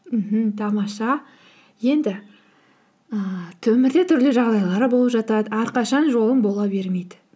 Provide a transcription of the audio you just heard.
мхм тамаша енді ііі өмірде түрлі жағдайлар болып жатады әрқашан жолын бола бермейді